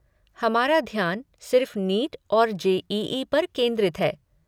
हमारा ध्यान सिर्फ़ नीट और जे.ई.ई. पर केंद्रित हैं।